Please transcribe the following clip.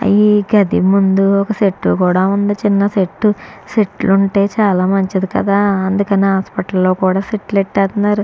ఈ గది ముందు ఒక చెట్టు కూడా ఉంది చిన్న సెట్టు సెట్లు ఉంటే చాలా మంచిది కదా అందుకనే హాస్పిటల్ లో కూడా సెటిల్ ఎట్టేస్తున్నారు